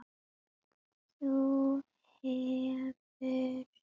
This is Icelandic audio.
Þú hefur hann ekki frá mér.